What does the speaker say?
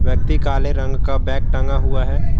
व्यक्ति काले रंग का बैग टांगा हुआ है।